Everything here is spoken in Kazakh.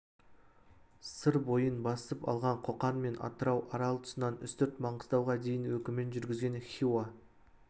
сыр бойын басып алған қоқан мен атырау арал тұсынан үстірт маңғыстауға дейін өкімін жүргізген хиуа